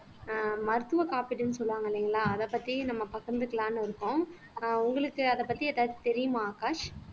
ஆஹ் மருத்துவ காப்பீடுன்னு சொல்லுவாங்க இல்லைங்களா அத பத்தி நம்ம பகிர்ந்துக்கலாம்ன்னு இருக்கோம் ஆஹ் உங்களுக்கு அத பத்தி ஏதாச்சும் தெரியுமா ஆகாஷ்